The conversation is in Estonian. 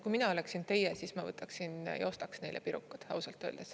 Kui mina oleksin teie, siis ma võtaksin ja ostaks neile pirukad, ausalt öeldes.